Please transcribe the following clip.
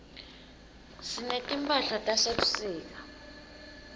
sinetimphahlatase sebusika